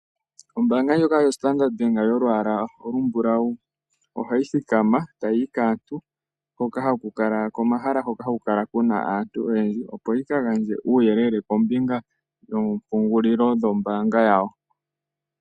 Ombaanga ndjoka yoStandard Bank yolwaala olumbulau ohayi thikama e tayi yi kaantu komahala hoka haku kala ku na aantu oyendji opo yi ka gandje uuyelele kombinga yoompungulilo dhombaanga yawo.